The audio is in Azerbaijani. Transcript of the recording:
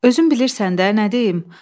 Özün bilirsən də, nə deyim?